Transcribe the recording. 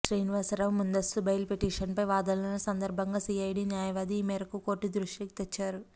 శ్రీనివాసరావు ముందస్తు బెయిల్ పిటిషన్పై వాదనల సందర్భంగా సిఐడి న్యాయవాది ఈ మేరకు కోర్టు దృష్టికి తెచ్చారు